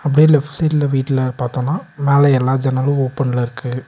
அப்டியே லெஃப்ட் சைடுல வீட்ல பாத்தோம்னா மேல எல்லா ஜன்னலோ ஓப்பன்ல இருக்கு.